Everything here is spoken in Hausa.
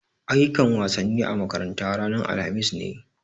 Ayyukan wasanni a makaranta ranan alhamis ne.